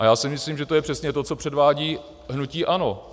A já si myslím, že to je přesně to, co předvádí hnutí ANO.